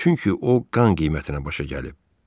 Çünki o qan qiymətinə başa gəlib.